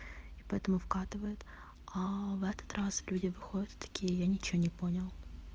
и поэтому вкатывает ка в этот раз люди выходят такие я ничего не понял